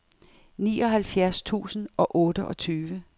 nioghalvfjerds tusind og otteogtyve